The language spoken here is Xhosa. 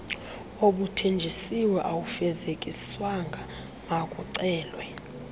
obuthenjisiwe awufezekiswanga makucelwe